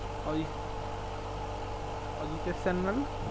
Ajit~ Ajitesh Sanyal